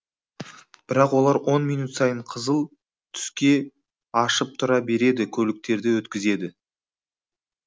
бірақ олар он минут сайын қызыл түске ашып тұра береді көліктерді өткізеді